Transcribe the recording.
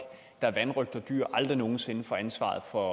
der vanrøgter dyr aldrig nogen sinde får ansvaret for